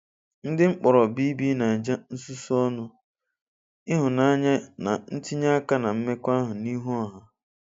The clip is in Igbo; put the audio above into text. Ndị mkpọrọ BBNaija nsusu ọnụ, ihunanya na itinye aka na mmekọahụ n'ihu ọha.